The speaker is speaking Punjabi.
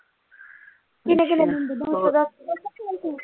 ਕਿੰਨੇ ਕਿੰਨੇ ਦਿਨ ਅੱਛਾ